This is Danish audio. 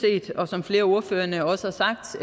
som flere af ordførerne også har sagt